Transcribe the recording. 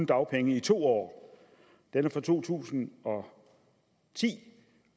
dagpenge i to år den er fra to tusind og ti